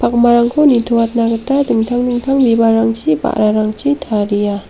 akmarangko nitoatna gita dingtang dingtang bibalrangchi ba·rarangchi taria.